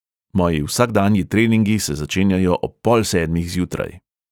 Moji vsakdanji treningi se začenjajo ob pol sedmih zjutraj.